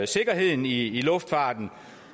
sikkerheden i luftfarten